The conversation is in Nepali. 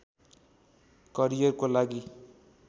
करियरको लागि